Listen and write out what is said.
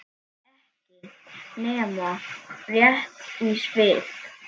Ekki nema rétt í svip.